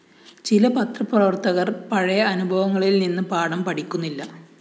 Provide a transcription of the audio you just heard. ചില പത്രപ്രവര്‍ത്തകര്‍ പഴയ അനുഭവങ്ങളില്‍ നിന്ന് പാഠം പഠിക്കുന്നില്ല